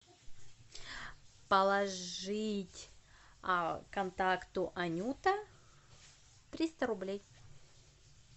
положить контакту анюта триста рублей